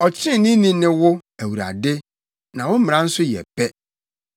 Ɔtreneeni ne wo, Awurade, na wo mmara nso yɛ pɛ.